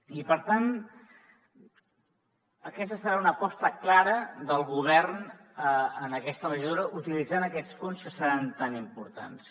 i per tant aquesta serà una aposta clara del govern en aquesta legislatura utilitzant aquests fons que seran tan importants